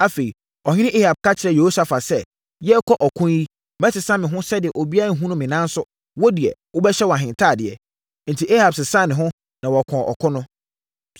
Afei, ɔhene Ahab ka kyerɛɛ Yehosafat sɛ, “Yɛrekɔ ɔko yi, mɛsesa me ho sɛdeɛ obiara renhunu me nanso, wo deɛ, wobɛhyɛ wʼahentadeɛ.” Enti, Ahab sesaa ne ho, na wɔkɔɔ ɔko no.